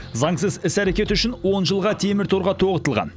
заңсыз іс әрекеті үшін он жылға темір торға тоғытылған